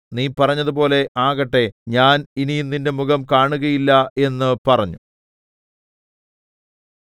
നീ പറഞ്ഞതുപോലെ ആകട്ടെ ഞാൻ ഇനി നിന്റെ മുഖം കാണുകയില്ല എന്ന് പറഞ്ഞു